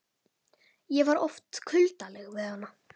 Ég var oft kuldaleg við hana.